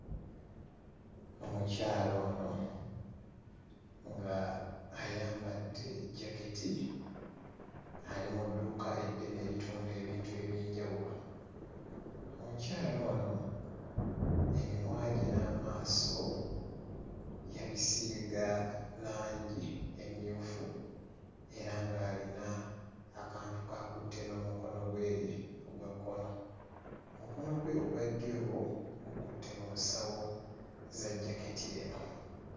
Omukyala ono nga ayambadde jaketi ali mu dduuka eddene eritunda ebintu eby'enjawulo. Omukyala ono emimwa gye n'amaaso yabisiiga langi emmyufu era ng'alina akantu k'akutte n'omukono gwe ogwa kkono. Mukono gwe ogwa ddyo gukutte mu nsawo za jaketi eno.